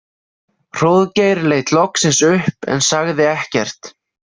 Hróðgeir leit loksins upp en sagði ekkert.